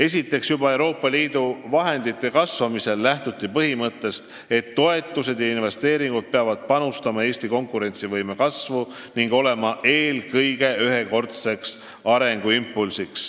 " Esiteks, ka siis, kui Euroopa Liidu vahendid suurenesid, lähtuti põhimõttest, et toetused ja investeeringud peavad soodustama Eesti konkurentsivõime kasvu ning andma eelkõige ühekordse arengutõuke.